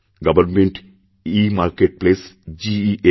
গভর্নমেন্টেমার্কেটপ্লেস GEM